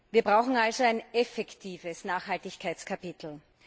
Wir brauchen also ein effektives Nachhaltigkeitskapitel.